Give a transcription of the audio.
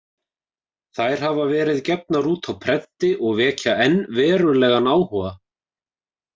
Þær hafa verið gefnar út á prenti og vekja enn verulegan áhuga.